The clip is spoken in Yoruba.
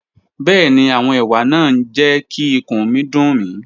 Bẹẹni, awọn ewa naa n jẹ ki ikun mi dun mi.